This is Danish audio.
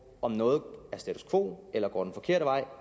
om noget er status quo eller går den forkerte vej og